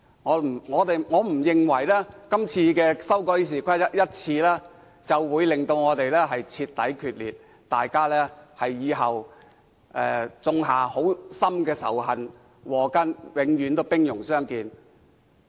我不認為今次修改《議事規則》會令雙方徹底決裂，種下深仇禍根，往後永遠兵戎相見。